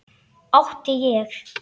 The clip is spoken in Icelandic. Átti ég.